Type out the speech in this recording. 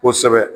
Kosɛbɛ